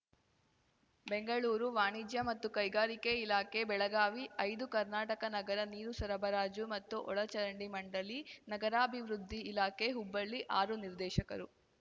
ಬೆಂಗಳೂರು ವಾಣಿಜ್ಯ ಮತ್ತು ಕೈಗಾರಿಕೆ ಇಲಾಖೆ ಬೆಳಗಾವಿ ಐದು ಕರ್ನಾಟಕ ನಗರ ನೀರು ಸರಬರಾಜು ಮತ್ತು ಒಳಚರಂಡಿ ಮಂಡಳಿ ನಗರಾಭಿವೃದ್ಧಿ ಇಲಾಖೆ ಹುಬ್ಬಳ್ಳಿ ಆರು ನಿರ್ದೇಶಕರು